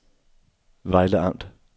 Vejle Amt